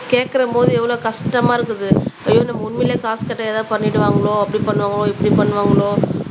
கேட்கிறபோது எவ்வளவு கஷ்டமா இருக்குது ஐயோ நாம உண்மையிலேயே காசு கேட்டா ஏதாவது பண்ணிடுவாங்களோ அப்படி பண்ணுவாங்களோ இப்படி பண்ணுவாங்களோ